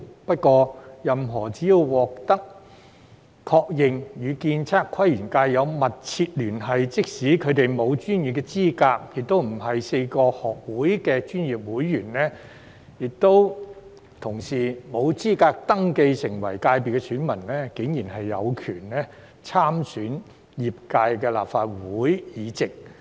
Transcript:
不過，任何人只要獲確認與建測規園界有"密切聯繫"，即使他們沒有專業資格，又不是4個學會的專業會員，不合資格登記成為界別選民，卻竟然有權參選業界的立法會議席。